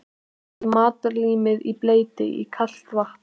Leggið matarlímið í bleyti í kalt vatn.